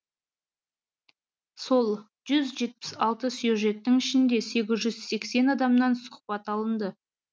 сол жүз жетпіс алты сюжеттің ішінде сегіз жүз сексен адамнан сұхбат алынды